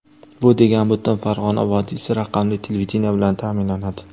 Bu degani butun Farg‘ona vodiysi raqamli televideniye bilan ta’minlanadi.